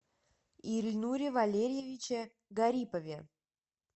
ильнуре валериевиче гарипове